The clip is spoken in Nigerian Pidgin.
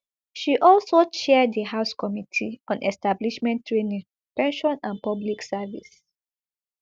she also chair di house committee on establishment training pension and public service